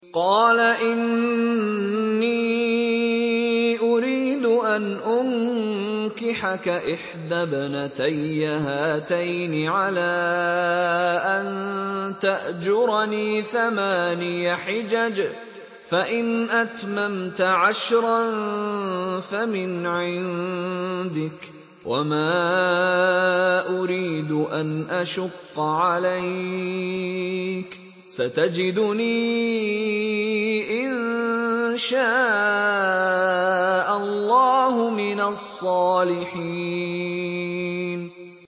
قَالَ إِنِّي أُرِيدُ أَنْ أُنكِحَكَ إِحْدَى ابْنَتَيَّ هَاتَيْنِ عَلَىٰ أَن تَأْجُرَنِي ثَمَانِيَ حِجَجٍ ۖ فَإِنْ أَتْمَمْتَ عَشْرًا فَمِنْ عِندِكَ ۖ وَمَا أُرِيدُ أَنْ أَشُقَّ عَلَيْكَ ۚ سَتَجِدُنِي إِن شَاءَ اللَّهُ مِنَ الصَّالِحِينَ